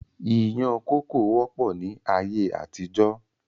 Ìyàn kókò wọ́pọ̀ ni ayé àtijọ́.